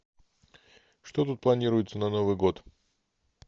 что тут планируется на новый год